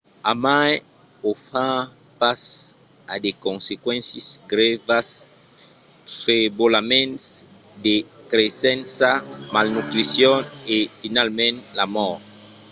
a mai o far pas a de consequéncias grèvas: trebolaments de creissença malnutricion e finalament la mòrt